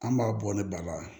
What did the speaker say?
An b'a bɔ ni ba la